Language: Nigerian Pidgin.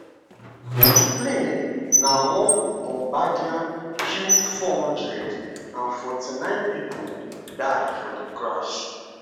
di plane na one bombardier q400 and 49 pipo die for di crash